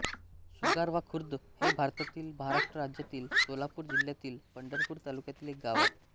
सुगावाखुर्द हे भारतातील महाराष्ट्र राज्यातील सोलापूर जिल्ह्यातील पंढरपूर तालुक्यातील एक गाव आहे